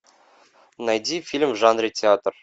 найди фильм в жанре театр